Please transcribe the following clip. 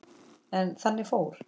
En þannig fór.